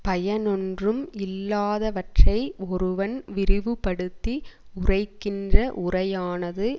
பயனொன்றும் இல்லாதவற்றை ஒருவன் விரிவுப்படுத்தி உரைக்கின்ற உரையானது